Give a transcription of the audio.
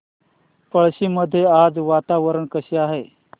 पळशी मध्ये आज वातावरण कसे आहे